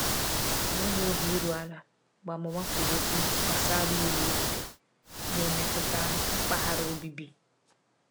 Ọ nweghị obi iru ala mgbe amụma kwuru okwu gbasara iwu obodo na-emetụta mpaghara obibi.